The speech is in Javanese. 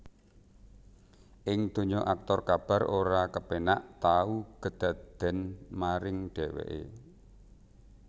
Ing donya aktor Kabar ora kepénak tau kedadèn maring dheweké